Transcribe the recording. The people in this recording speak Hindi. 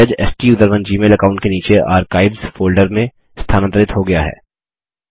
मैसेज स्टूसरोन जीमेल अकाउंट के नाचे आर्काइव्स फोल्डर में स्थानांतरित हो गया है